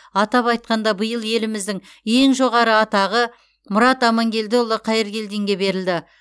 атап айтқанда биыл еліміздің ең жоғары атағы мұрат амангелдіұлы қайыргелдинге берілді